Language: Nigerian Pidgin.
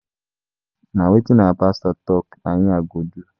Na wetin our pastor talk na im I go do